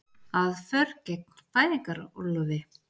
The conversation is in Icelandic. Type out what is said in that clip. Aðför gegn fæðingarorlofi